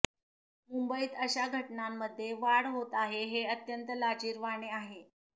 मुंबईत अशा घटनांमध्ये वाढ होत आहे हे अत्यंत लाजिरवाणे आहे